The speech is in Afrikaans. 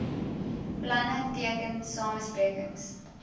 planne teken samesprekings